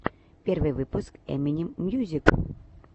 первый выпуск эминем мьюзик